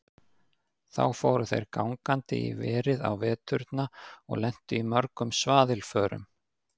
Þá fóru þeir gangandi í verið á veturna og lentu í mörgum svaðilförum.